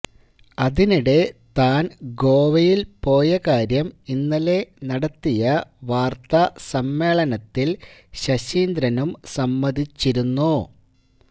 അതിനിടെ താന് ഗോവയില് പോയ കാര്യം ഇന്നലെ നടത്തിയ വാര്ത്താസമ്മേളനത്തില് ശശീന്ദ്രനും സമ്മതിച്ചിരുന്നു